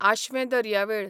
आशवें दर्यावेळ